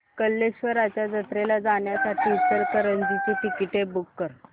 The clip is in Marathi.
कल्लेश्वराच्या जत्रेला जाण्यासाठी इचलकरंजी ची तिकिटे बुक कर